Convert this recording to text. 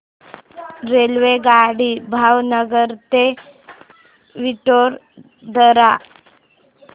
रेल्वेगाडी भावनगर ते वडोदरा